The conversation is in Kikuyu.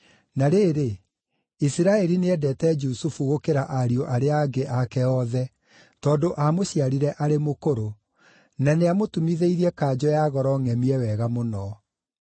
Na rĩrĩ, Isiraeli nĩendeete Jusufu gũkĩra ariũ arĩa angĩ ake othe, tondũ aamũciarire arĩ mũkũrũ; na nĩamũtumithĩirie kanjũ ya goro ngʼemie wega mũno.